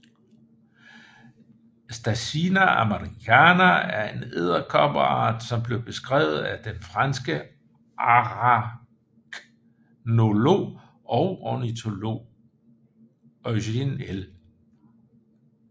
Stasina americana er en edderkoppeart som blev beskrevet af den franske araknolog og ornitolog Eugène L